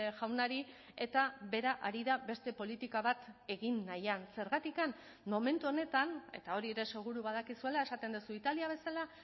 jaunari eta bera ari da beste politika bat egin nahian zergatik momentu honetan eta hori ere seguru badakizuela esaten duzu italia bezala